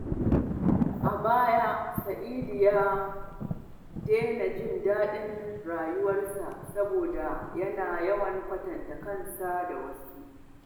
A baya, Sa’idu ya daina jin daɗin rayuwarsa saboda yana yawan kwatanta kansa da wasu.